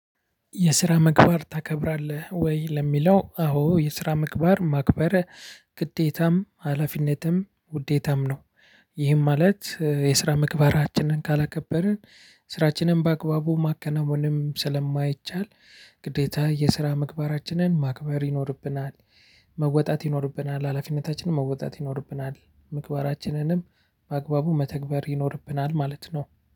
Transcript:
የስራ ምግባር ታከብራለህ ወይ ለሚለው? አዎ የስራ ምግባር ማክበር ግዴታም ሀላፊነትም ውዴታም ነው። ይህም ማለት የስራ ምግባራችንን ካላከበርን ስራችንን በአግባቡ ማከናወንም ስለማይቻል ግዴታ የስራ ምግባራችንን ማክበር ይኖርብናል። መወጣት ይኖርብናል ሀላፊነታችንን መወጣት ይኖርብናል ምግባራችንንም በአግባቡ መተግበር ይኖርብናል ማለት ነው።